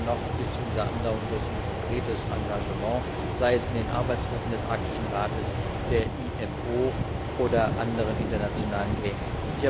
Wichtiger aber noch ist unser andauerndes und konkretes Engagement, sei es in den Arbeitsgruppen des Arktischen Rates, der IMO oder anderen internationalen Gremien.